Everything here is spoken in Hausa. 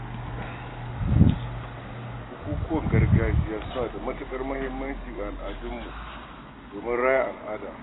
Bukukuwan gargajiya suna da matukar muhimmanci ga al’umma domin raya al'ada.